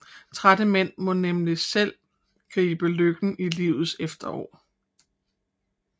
Trætte mænd må nemlig selv gribe lykken i livets efterår